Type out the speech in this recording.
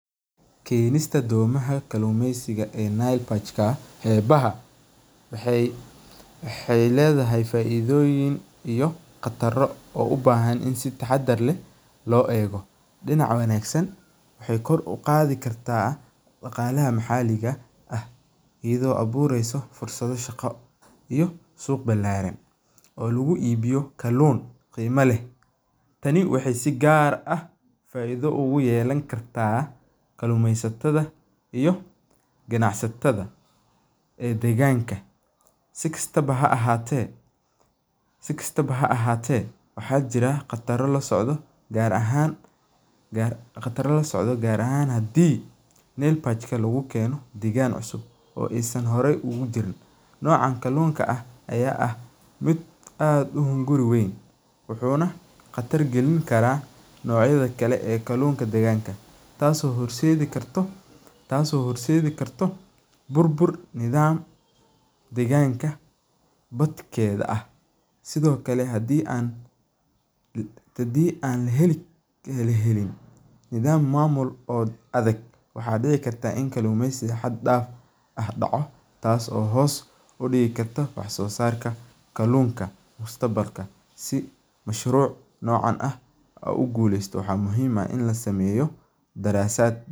Kenista domaha kalumesiga ee nile barch waxee ledhahay faidoyin iyo xaqdaro u bahan si taxadar leh lo ego, dinac wanagsan waxee kor u qadhi kartaa daqalaha maxaliga ah iyadho abureysa fursaado shaqa iyo meela balaran oo lagu ibiyo kalun qima leh, tani waxee si gar ah farxaad ogu yelan kartaa kalumeysataadha iyo ganacsataada ee deganka si kastawa ha ahate waxaa jira qatar lasocda gar ahan nile barch noca kalunka aya ah miid aad u hunguri weyn wuxuna qatar galin karaa nocyaada kale ee kalunka deganka, tas oo horseedi kartaa bur bur deganka horteeda ah, sithokale hadii an heli nidham mamul oo adag waxaa dici karaa in kalunto daco tas oo hos u digi karta waxso sarka kalunta, mashruca nocan hadii an rawo in an ku guleysano waxaa waye in la sameyo darasaaad.